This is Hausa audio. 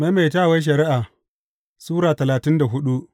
Maimaitawar Shari’a Sura talatin da hudu